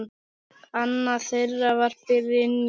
Annað þeirra var Brynja.